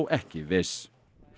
ekki viss